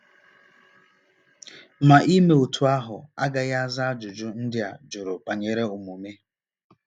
Ma ime otú ahụ agaghị aza ajụjụ ndị a jụrụ banyere omume.